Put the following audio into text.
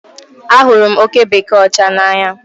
Ahụrụ m oke bekee ọcha n'anya